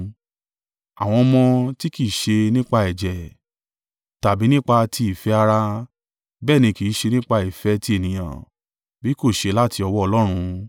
Àwọn ọmọ tí kì í ṣe nípa ẹ̀jẹ̀, tàbí nípa ti ìfẹ́ ara, bẹ́ẹ̀ ni kì í ṣe nípa ìfẹ́ ti ènìyàn, bí kò ṣe láti ọwọ́ Ọlọ́run.